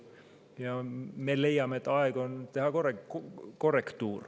Ja me leiame, et aeg on teha korrektuur.